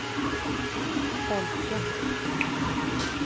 folket